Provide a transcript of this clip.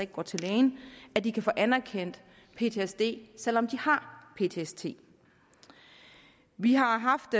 går til lægen at de kan få anerkendt i ptsd selv om de har ptsd vi har haft